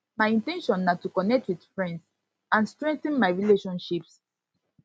my in ten tion na to connect with friends and strengthen my relationships